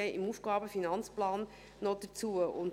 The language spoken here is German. Ich werde beim AFP noch darauf zu sprechen kommen.